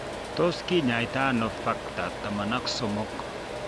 Tos kinyaita ano Factor XIII?